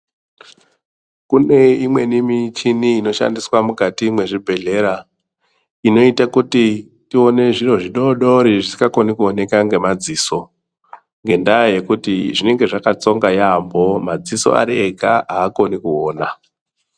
Kune imweni michini inoshandiswe mukati mezvibhedhlera, inoita kuti tione zviro zvidodori zvisingakhone kuwonekwa ngemadziso ngendava yekuti zvinenge zvakatsonga yambo, madziso ari ega hakhoni kuona.